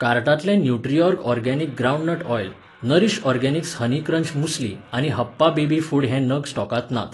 कार्टांतले Nutriorg organic groundnut oil, Nourish Organics honey crunch muesli आनी Happa baby food हे नग स्टॉकांत नात.